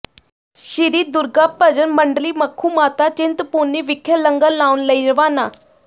ਸ਼੍ਰੀ ਦੁਰਗਾ ਭਜਨ ਮੰਡਲੀ ਮੱਖੂ ਮਾਤਾ ਚਿੰਤਪੁਰਨੀ ਵਿਖੇ ਲੰਗਰ ਲਾਉਣ ਲਈ ਰਵਾਨਾ